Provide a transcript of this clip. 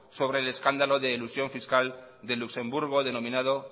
sobre el escándalo de elusión fiscal de luxemburgo denominado